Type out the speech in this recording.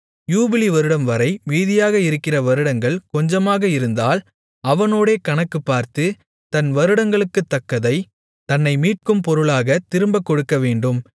யூபிலி வருடம்வரை மீதியாக இருக்கிற வருடங்கள் கொஞ்சமாக இருந்தால் அவனோடே கணக்குப் பார்த்து தன் வருடங்களுக்குத்தக்கதை தன்னை மீட்கும் பொருளாகத் திரும்பக் கொடுக்கவேண்டும்